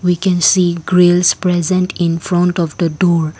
we can see grills present in front of the door.